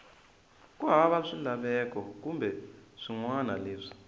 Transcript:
hava swilaveko kumbe swinawana leswi